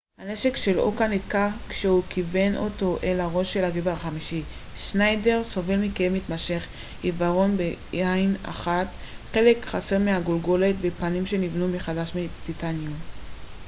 הנשק של אוקה נתקע כשהוא כיוון אותו אל ראשו של גבר חמישי שניידר סובל מכאב מתמשך עיוורון בעין אחת חלק חסר מהגולגולת ופנים שנבנו מחדש מטיטניום